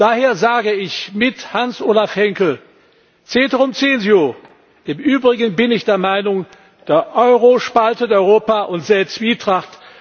Daher sage ich mit Hans Olaf Henkel Ceterum censeo im Übrigen bin ich der Meinung, der Euro spaltet Europa und sät Zwietracht.